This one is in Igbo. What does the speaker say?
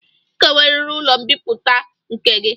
Ị ga-enweriri ụlọ mbipụta nke gị!